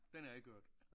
Den har jeg ikke hørt